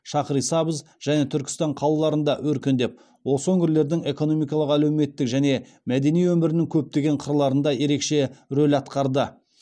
шахрисабз және түркістан қалаларында өркендеп осы өңірлердің экономикалық әлеуметтік және мәдени өмірінің көптеген қырларында ерекше рөл атқарды